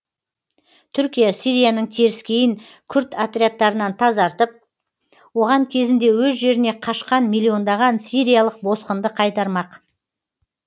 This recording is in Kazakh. түркия сирияның теріскейін күрд отрядтарынан тазартып оған кезінде өз жеріне қашқан миллиондаған сириялық босқынды қайтармақ